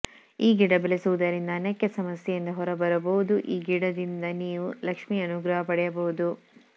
ಈ ಗಿಡ ಬೆಳೆಸುವುದರಿಂದ ಅನೇಕ ಸಮಸ್ಯೆಯಿಂದ ಹೊರ ಬರಬಹುದು ಈ ಗಿಡದಿಂದ ನೀವು ಲಕ್ಷ್ಮಿ ಅನುಗ್ರಹ ಪಡೆಯಬಹುದು